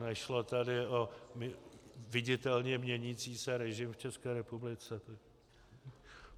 Nešlo tady o viditelně měnící se režim v České republice.